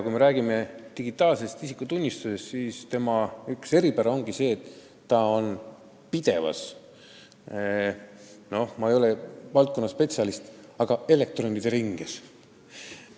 Kui me räägime digitaalsest isikutunnistusest, siis selle üks eripära on, et see on pidevas – ma ei ole küll valdkonnaspetsialist – elektronide ringes.